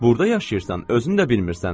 Burda yaşayırsan, özün də bilmirsən.